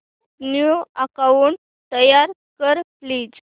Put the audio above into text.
new account तयार कर please